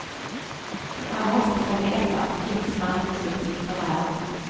Han måste få veta att det finns framtidsutsikter här.